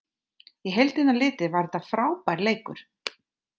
Í heildina litið var þetta frábær leikur.